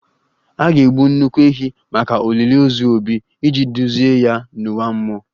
A ga-egbu nnukwu ehi maka olili ozu 'Obi' iji duzie ya n'ụwa mmụọ